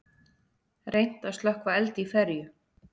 Reynt að slökkva eld í ferju